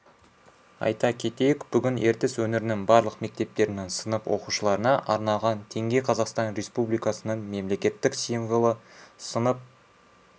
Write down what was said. айта кетейік бүгін ертіс өңірінің барлық мектептерінің сынып оқушыларына арналған теңге қазақстан республикасының мемлекеттік символы сынып